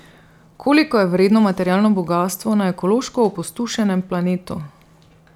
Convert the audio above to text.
Koliko je vredno materialno bogastvo na ekološko opustošenem planetu?